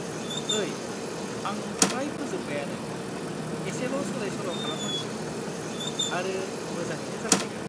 ओइ, आं फ्राय फोजोब्बायानो, एसेल' सोलाय-सोल' खालामनांसिगौ, आरो मोजाङैनो जासिगोन।